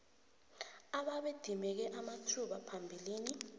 ababedimeke amathuba phambilini